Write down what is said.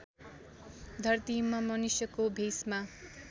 धरतीमा मनुष्यको भेषमा